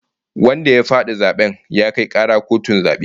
Wanda ya fadi zaben ya kai kara kotun zabe